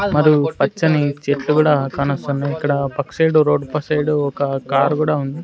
మరియు పచ్చని చెట్లు కూడా కానొస్తున్నాయి ఇక్కడ పక్క సైడ్ రోడ్ పక్క సైడ్ ఒక కార్ కూడా ఉంది.